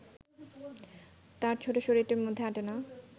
তার ছোট শরীরটির মধ্যে আঁটে না